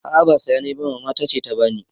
A'a ba siya nayi ba Mama tace ta bani